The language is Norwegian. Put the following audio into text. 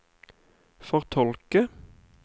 fortolke